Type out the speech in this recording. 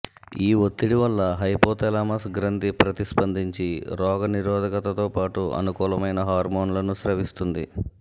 ఈ ఒత్తిడి వల్ల హైపోథాలమస్ గ్రంథి ప్రతిస్పందించి రోగ నిరోధకతతోపాటు అనుకూలమైన హార్మోన్లను స్రవిస్తుంది